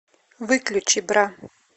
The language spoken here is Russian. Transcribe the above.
выключи бра